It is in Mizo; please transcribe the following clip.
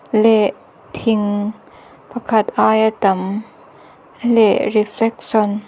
leh thing pakhat aia tam leh reflection --